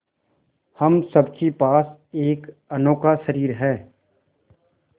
हम सब के पास एक अनोखा शरीर है